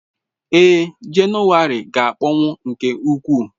Ee, Jenụwarị ga-akpọnwụ nke ukwuu.